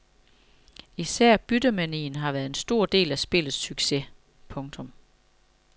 Især byttemanien har været en stor del af spillets succes. punktum